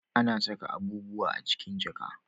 A na saka abubuwa a cikin jaka